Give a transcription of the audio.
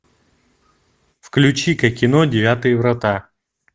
включи ка кино девятые врата